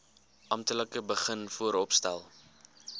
amptelik begin vooropstel